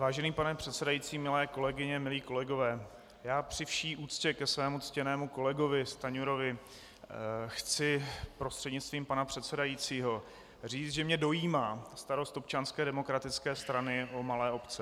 Vážený pane předsedající, milé kolegyně, milí kolegové, já při vší úctě ke svému ctěnému kolegovi Stanjurovi chci prostřednictvím pana předsedajícího říct, že mě dojímá starost Občanské demokratické strany o malé obce.